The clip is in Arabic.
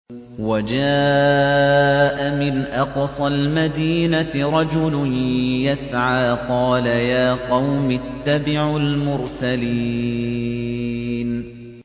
وَجَاءَ مِنْ أَقْصَى الْمَدِينَةِ رَجُلٌ يَسْعَىٰ قَالَ يَا قَوْمِ اتَّبِعُوا الْمُرْسَلِينَ